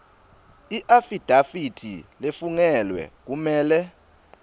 iafidafithi lefungelwe kumele